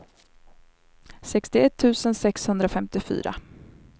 sextioett tusen sexhundrafemtiofyra